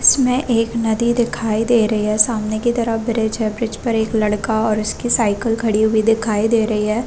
इसमें एक नदी दिखाई दे रही है सामने के तरफ ब्रिज है ब्रिज पर एक लड़का और उसकी साइकिल खड़ी हुए दिखाई दे रही है ।